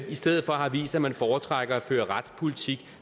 i stedet for har vist at man foretrækker at føre retspolitik